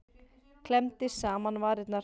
Klemmdi saman varirnar.